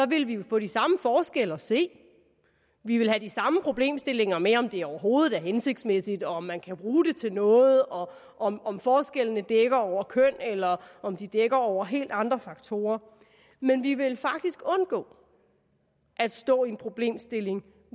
ville vi jo få de samme forskelle at se vi ville have de samme problemstillinger med om det overhovedet er hensigtsmæssigt om man kan bruge det til noget og om om forskellene dækker over køn eller om de dækker over helt andre faktorer men vi ville faktisk undgå at stå i en problemstilling